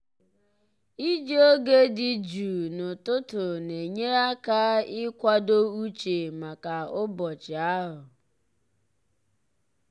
iji oge dị jụụ n'ụtụtụ na-enyere ya aka ịkwado uche maka ụbọchị ahụ.